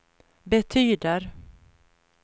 betyder